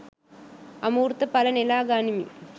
අමෘත ඵල නෙළා ගනිමි